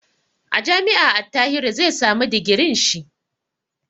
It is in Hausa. A jami'a Attahiru zai samu digirin shi.